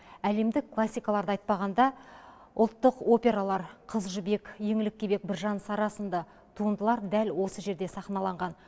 әлемдік классикаларды айтпағанда ұлттық опералар қыз жібек еңлік кебек біржан сара сынды туындылар дәл осы жерде сахналанған